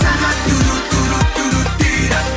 сағат дейді